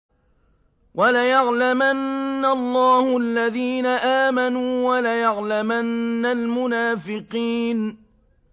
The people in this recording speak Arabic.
وَلَيَعْلَمَنَّ اللَّهُ الَّذِينَ آمَنُوا وَلَيَعْلَمَنَّ الْمُنَافِقِينَ